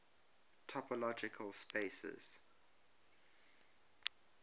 topological spaces